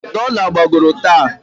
Dola gbagoro taa.